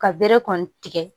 Ka bere kɔni tigɛ